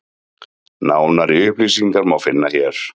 Nánari upplýsingar má finna hér.